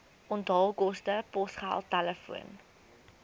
onthaalkoste posgeld telefoon